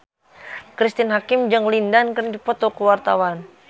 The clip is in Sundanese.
Cristine Hakim jeung Lin Dan keur dipoto ku wartawan